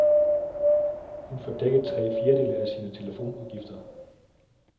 Hun får dækket tre fjerdedele af sine telefonudgifter.